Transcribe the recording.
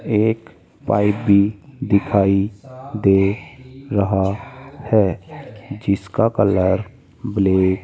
एक पाइपी दिखाई दे रहा है जिसका कलर ब्लैक --